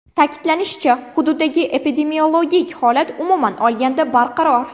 Ta’kidlanishicha, hududdagi epidemiologik holat umuman olganda barqaror.